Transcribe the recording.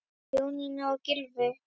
Jónína og Gylfi.